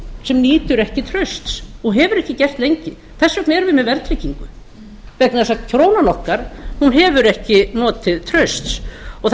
sem nýtur ekki trausts og hefur ekki gert lengi þess vegna erum við með verðtryggingu vegna þess að krónan okkar hefur ekki notið trausts það